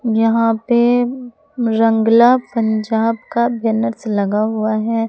यहां पे रंगला पंजाब का बैनर्स लगा हुआ है।